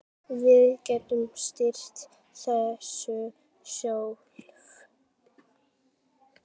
Við getum stýrt þessu sjálf.